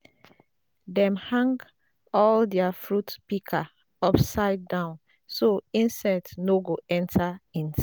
dem hang all dia fruit pika upside down so insect no go enter inside